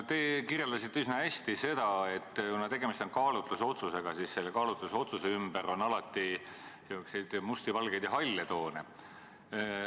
Te kirjeldasite üsna hästi seda, et kuna tegemist on kaalutlusotsusega, siis selle ümber on nagu ikka niisuguseid musti, valgeid ja halle toone.